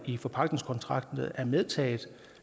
i forpagtningskontrakten er medtaget